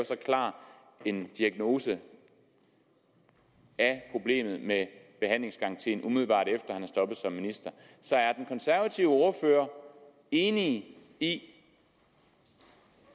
så klar en diagnose af problemet med behandlingsgarantien umiddelbart efter at han er stoppet som minister så er den konservative ordfører enig i